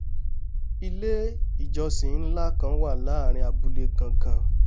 ilé-ìjọsìn nlá kan wà láàrin abúlé gangan